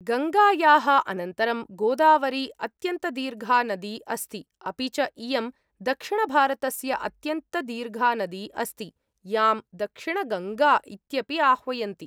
गङ्गायाः अनन्तरं गोदावरी अत्यन्तदीर्घा नदी अस्ति, अपि च इयं दक्षिणभारतस्य अत्यन्तदीर्घा नदी अस्ति यां दक्षिणगङ्गा इत्यपि आह्वयन्ति।